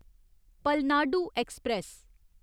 Palnadu express